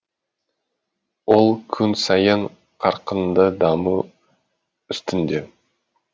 ол күн сайын қарқынды даму үстінде